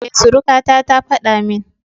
E, surukata ta faɗa min.